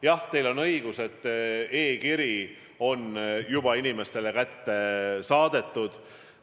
Jah, teil on õigus, e-kiri on juba inimestele saadetud.